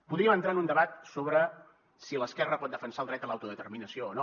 podríem entrar en un debat sobre si l’esquerra pot defensar el dret a l’autodeterminació o no